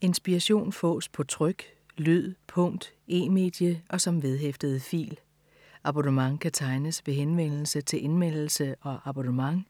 Inspiration fås på tryk, lyd, punkt, e-medie og som vedhæftet fil. Abonnement kan tegnes ved henvendelse til Indmeldelse og abonnement.